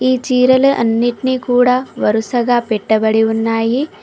ఈ చీరలు అన్నిట్నీ కూడా వరుసగా పెట్టబడి ఉన్నాయి.